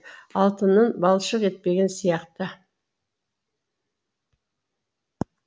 алтынын балшық етпеген сияқты